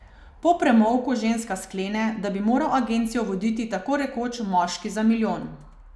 Po premolku ženska sklene, da bi moral agencijo voditi tako rekoč moški za milijon.